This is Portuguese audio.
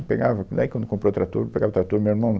Pegava, daí quando comprou o trator, eu pegava o trator e o meu irmão...